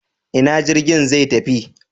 Ina jirgin zai tafi?